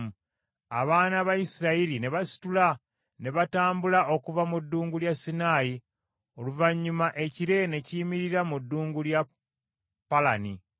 Abaana ba Isirayiri ne basitula ne batambula okuva mu Ddungu lya Sinaayi, oluvannyuma ekire ne kiyimirira mu Ddungu lya Palani.